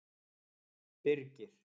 Birgir